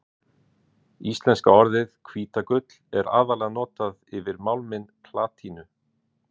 Íslenska orðið hvítagull er aðallega notað yfir málminn platínu.